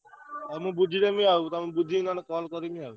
ହଉ ମୁଁ ବୁଝିଦେବି ଆଉ ବୁଝିକି ନହେଲେ ତମକୁ call କରିବି ଆଉ।